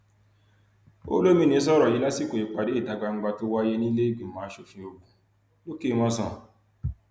olomini sọrọ yìí lásìkò ìpàdé ìta gbangba tó wáyé níleegbìmọ ogun lòkèmọsán